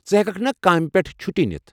ژٕ ہیٚککھ نا کامہِ پیٚٹھٕہ چُھٹی نِتھ؟